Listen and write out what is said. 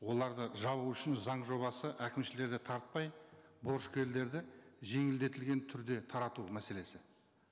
оларды жабу үшін заң жобасы әкімшілерді тартпай борышкерлерді жеңілдетілген түрде тарату мәселесі